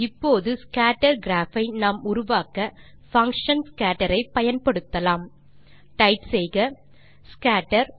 இப்போது scatter graph ஐ நாம் உருவாக்க பங்ஷன் scatter ஐ பயன்படுத்தலாம் டைப் செய்க ஸ்கேட்டர்